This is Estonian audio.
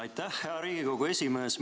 Aitäh, hea Riigikogu esimees!